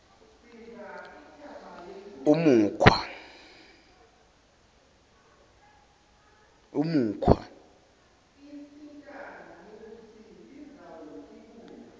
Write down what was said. umukhwa